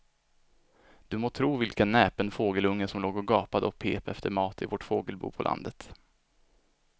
Du må tro vilken näpen fågelunge som låg och gapade och pep efter mat i vårt fågelbo på landet.